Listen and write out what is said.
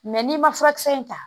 n'i ma furakisɛ in ta